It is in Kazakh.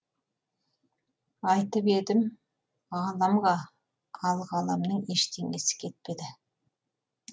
айтып едім едім ғаламға ал ғаламның ештеңесі кетпеді